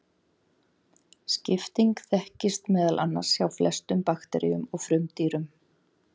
Skipting þekkist meðal annars hjá flestum bakteríum og frumdýrum.